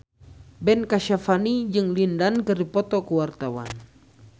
Ben Kasyafani jeung Lin Dan keur dipoto ku wartawan